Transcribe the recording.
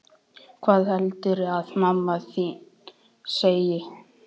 Hvað heldurðu að mamma þín segi?